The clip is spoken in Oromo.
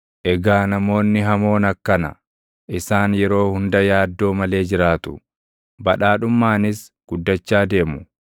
Egaa namoonni hamoon akkana; isaan yeroo hunda yaaddoo malee jiraatu; badhaadhummaanis guddachaa deemu.